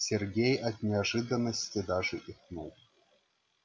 сергей от неожиданности даже икнул